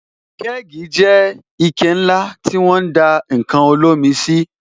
Kẹ́gì jẹ́ ike ńlá tí won ń dá ǹkan olómi sí